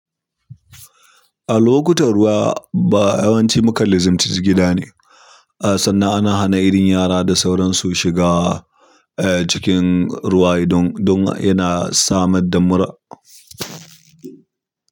A lokutan ruwa ba yawanci mukan lizimci gida ne. Sannan ana hana irin yara da sauran su shiga eh cikin ruwayi don, don yana samar da mura.